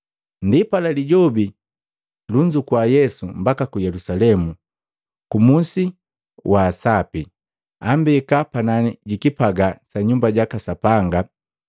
Ndipala Lijobi lunzukua Yesu mbaka ku Yelusalemu, kumusi wa asapi, ambeka panani jikipagaa sa Nyumba jaka Sapanga.